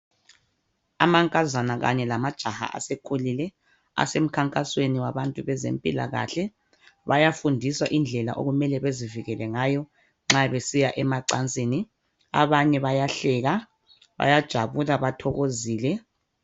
Amankazana Kanye lamajaha asekhulule asemkhankasweni yabantu bezempilakahle bayafundiswa indlela okumele bazivikele ngayo nxa besiya emacansini, abanye bayahleka bajabule bathokozile.